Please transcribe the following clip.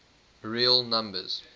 real numbers